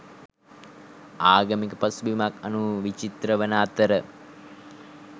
ආගමික පසුබිමක් අනුව විචිත්‍ර වන අතර